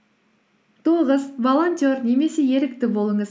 тоғыз волонтер немесе ерікті болыңыз